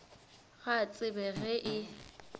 ga a tsebe ge e